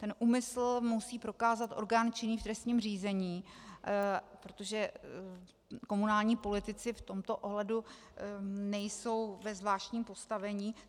Ten úmysl musí prokázat orgán činný v trestním řízení, protože komunální politici v tomto ohledu nejsou ve zvláštním postavení.